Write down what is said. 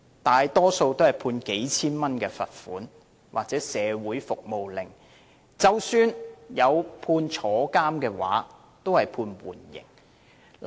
大多判罰款數千元或社會服務令，即使判處監禁，亦以緩刑為主。